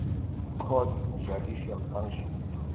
courts judicial functions